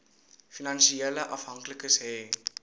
finansiële afhanklikes hê